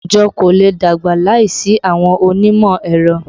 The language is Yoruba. Àwùjọ kò lè dàgbà láìsí àwọn onímọ̀ ẹ̀rọ